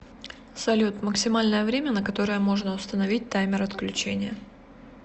салют максимальное время на которое можно установить таймер отключения